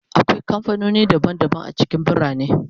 Akwai kamfanoni daban-daban a cikin birane